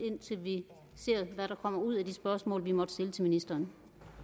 indtil vi ser hvad der kommer ud af de spørgsmål vi måtte stille til ministeren